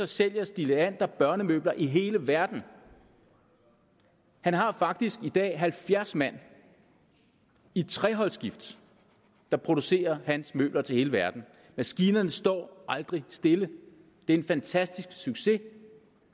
sælger stig leander børnemøbler i hele verden han har faktisk i dag halvfjerds mand i treholdsskift der producerer hans møbler til hele verden maskinerne står aldrig stille det er en fantastisk succes